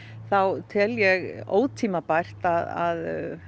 þá tel ég ótímabært að